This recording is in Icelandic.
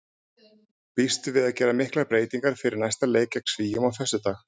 Býstu við að gera miklar breytingar fyrir næsta leik gegn Svíum á föstudag?